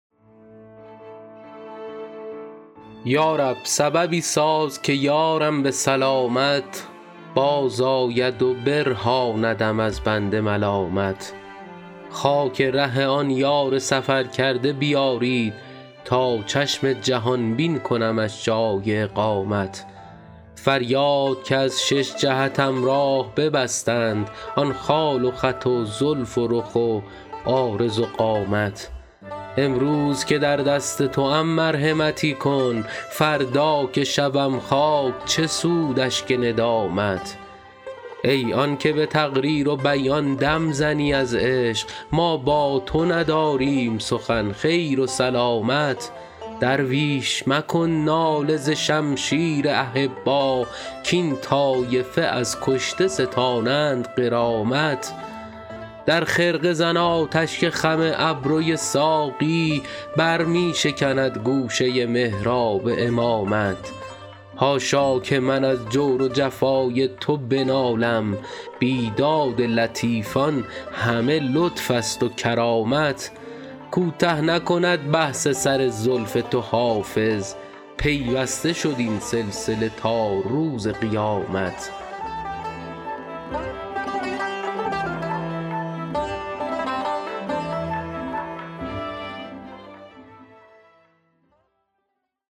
یا رب سببی ساز که یارم به سلامت بازآید و برهاندم از بند ملامت خاک ره آن یار سفرکرده بیارید تا چشم جهان بین کنمش جای اقامت فریاد که از شش جهتم راه ببستند آن خال و خط و زلف و رخ و عارض و قامت امروز که در دست توام مرحمتی کن فردا که شوم خاک چه سود اشک ندامت ای آن که به تقریر و بیان دم زنی از عشق ما با تو نداریم سخن خیر و سلامت درویش مکن ناله ز شمشیر احبا کاین طایفه از کشته ستانند غرامت در خرقه زن آتش که خم ابروی ساقی بر می شکند گوشه محراب امامت حاشا که من از جور و جفای تو بنالم بیداد لطیفان همه لطف است و کرامت کوته نکند بحث سر زلف تو حافظ پیوسته شد این سلسله تا روز قیامت